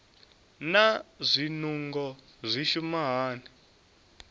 naa zwinungo zwi shuma hani